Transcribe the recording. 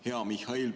Hea Mihhail!